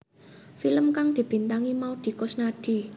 Film kang dibintangi Maudy Koesnaedi